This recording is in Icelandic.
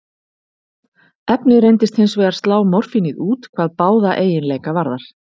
Efnið reyndist hins vegar slá morfínið út hvað báða eiginleika varðar.